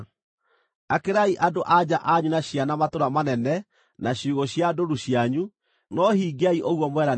Akĩrai andũ-a-nja anyu na ciana matũũra manene na ciugũ cia ndũũru cianyu, no hingiai ũguo mweranĩra.”